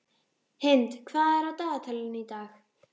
Hind, hvað er á dagatalinu í dag?